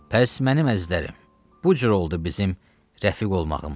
Pəs, mənim əzizlərim, bu cür oldu bizim rəfiq olmağımız.